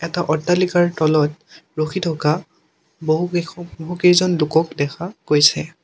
এটা অট্টালিকাৰ তলত ৰখি থকা বহুকেশৱ বহুকেইজন লোকক দেখা গৈছে।